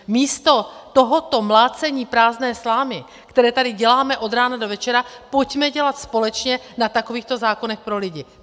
Místo tohoto mlácení prázdné slámy, které tady děláme od rána do večera, pojďme dělat společně na takovýchto zákonech pro lidi.